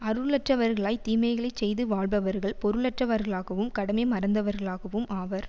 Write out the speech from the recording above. அருளற்றவர்களாய்த் தீமைகளை செய்து வாழ்பவர்கள் பொருளற்றவர்களாகவும் கடமை மறந்தவர்களாகவும் ஆவர்